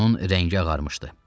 Onun rəngi ağarmışdı.